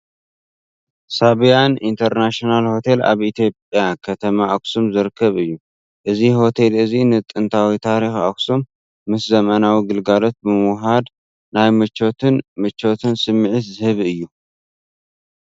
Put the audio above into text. ሳብያን ኢንተርናሽናል ሆቴል ኣብ ኢትዮጵያ ከተማ ኣክሱም ዝርከብ እዩ። እዚ ሆቴል እዚ ንጥንታዊ ታሪኽ ኣክሱም ምስ ዘመናዊ ገልግሎታት ብምውህሃድ ናይ ምቾትን ምቾትን ስምዒት ዝህብ እዩ።